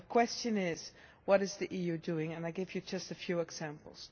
The question is what is the EU doing? I will give you just a few examples.